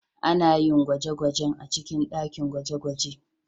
Ana yin gwaje-gwajen a cikin dakin gwaje-gwaje